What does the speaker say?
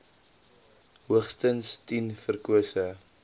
hoogstens tien verkose